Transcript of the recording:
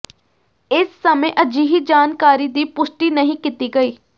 ਇਸ ਸਮੇਂ ਅਜਿਹੀ ਜਾਣਕਾਰੀ ਦੀ ਪੁਸ਼ਟੀ ਨਹੀਂ ਕੀਤੀ ਗਈ